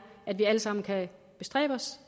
at vi alle sammen kan bestræbe os